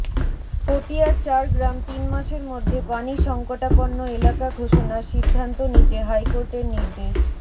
পটিয়ার চার গ্রাম তিন মাসের মধ্যে পানি সংকটাপন্ন এলাকা ঘোষণার সিদ্ধান্ত নিতে হাইকোর্টের নির্দেশ